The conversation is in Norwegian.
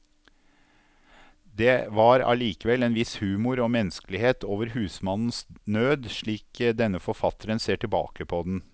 Det var allikevel en viss humor og menneskelighet over husmannens nød, slik denne forfatteren ser tilbake på den.